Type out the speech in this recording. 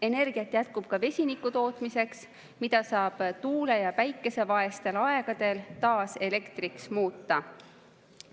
Energiat jätkub ka vesiniku tootmiseks, mida saab tuule‑ ja päikesevaestel aegadel taas elektriks muuta.